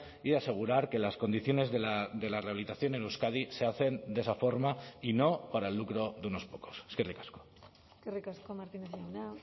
y asegurar que las condiciones de la rehabilitación en euskadi se hacen de esa forma y no para el lucro de unos pocos eskerrik asko eskerrik asko martínez jauna